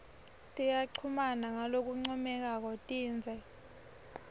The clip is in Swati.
tiyachumana ngalokuncomekako tindze